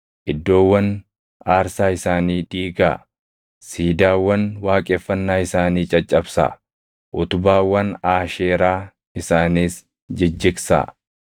Iddoowwan aarsaa isaanii diigaa; siidaawwan waaqeffannaa isaanii caccabsaa; utubaawwan Aasheeraa isaaniis jijjigsaa.